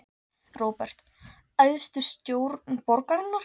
Róbert: Æðstu stjórn borgarinnar?